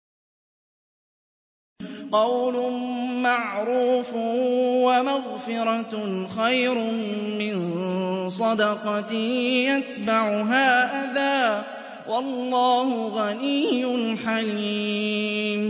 ۞ قَوْلٌ مَّعْرُوفٌ وَمَغْفِرَةٌ خَيْرٌ مِّن صَدَقَةٍ يَتْبَعُهَا أَذًى ۗ وَاللَّهُ غَنِيٌّ حَلِيمٌ